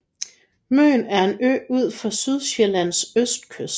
Møn er en ø ud for Sydsjællands østkyst